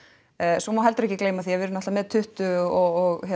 svo má heldur ekki gleyma því að við erum með tuttugu og